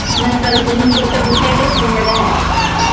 ਨੰਗਲ ਤਾ ਨੰਗਲ ਤਾ ਬਥੇਰੇ ਨੰਗਲ ਨੇ